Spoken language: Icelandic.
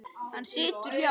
Hann situr hjá